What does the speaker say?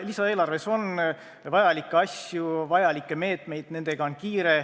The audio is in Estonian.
Lisaeelarves on vajalikke asju, vajalikke meetmeid ja nendega on kiire.